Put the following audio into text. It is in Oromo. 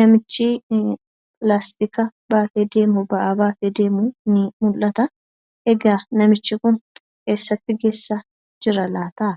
namichi pilaastika baatee deemu ba'aa baatee deemu ni mul'ata. Egaa namichi kun eessatti geessaa jira laata?